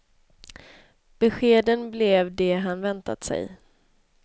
Beskeden blev de han väntat sig.